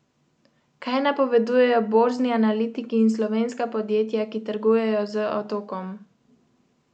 Kaj napovedujejo borzni analitiki in slovenska podjetja, ki trgujejo z Otokom?